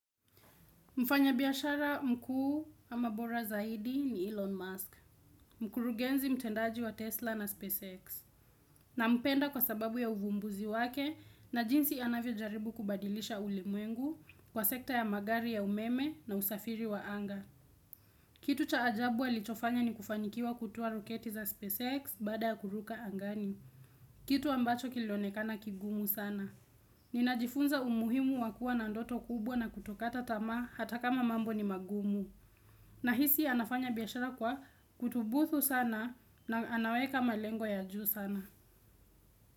Mfanya biashara mkuu ama bora zaidi ni Elon Musk, mkurugenzi mtendaji wa Tesla na SpaceX, nampenda kwa sababu ya uvumbuzi wake na jinsi anavyojaribu kubadilisha ulimwengu kwa sekta ya magari ya umeme na usafiri wa anga. Kitu cha ajabu alichofanya ni kufanikiwa kutoa roketi za SpaceX baada ya kuruka angani. Kitu ambacho kilionekana kigumu sana. Ninajifunza umuhimu wa kuwa na ndoto kubwa na kutokata tamaa hata kama mambo ni magumu. Nahisi anafanya biashara kwa kutubuthu sana na anaweka malengo ya juu sana.